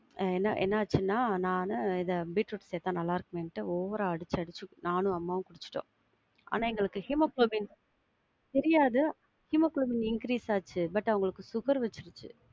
என்ன, என்ன ஆச்சுனா நானு இத பீட்ரூட்ட சேத்தா நல்லா இருக்குமேன்ட்டு over ஆ அடிச்சி அடிச்சி நானும் அம்மாவும் குடிச்சிட்டோம் ஆனா எங்களுக்கு ஹீமோகுளோபின் தெரியாது ஹீமோகுளோபின் increase ஆச்சு but அவங்களுக்கு sugar வச்சிச்சு.